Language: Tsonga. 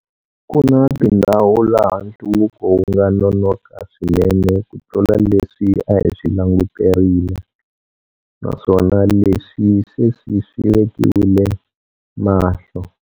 Ku na tindhawu laha nhluvuko wu nga nonoka swinene kutlula leswi a hi swi languterile, naswona leswi sweswi swi vekiwile mahlo.